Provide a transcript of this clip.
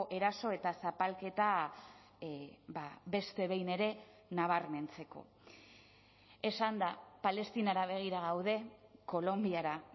eraso eta zapalketa beste behin ere nabarmentzeko esan da palestinara begira gaude kolonbiara